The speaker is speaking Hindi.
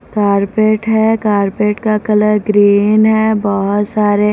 कार्पेट है कारपेट का कलर ग्रीन है बहुत सारे--